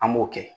An b'o kɛ